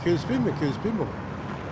келіспейм мен келіспейм оған